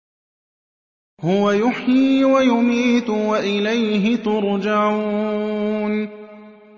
هُوَ يُحْيِي وَيُمِيتُ وَإِلَيْهِ تُرْجَعُونَ